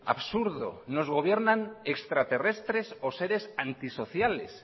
absurdo nos gobiernan extraterrestres o seres antisociales